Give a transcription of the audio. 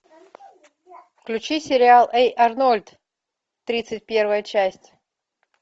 включи сериал эй арнольд тридцать первая часть